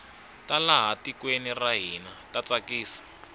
ta laha tikweni ra hina ta tsakisa